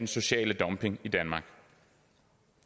social dumping